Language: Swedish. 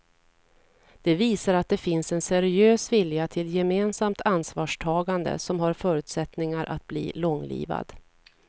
Det visar att det finns en seriös vilja till gemensamt ansvarstagande som har förutsättningar att bli långlivad.